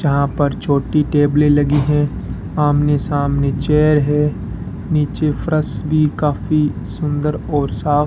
जहां पर छोटी टेबलें लगी हैं आमने सामने चेयर है नीचे फर्श भी काफी सुंदर और साफ --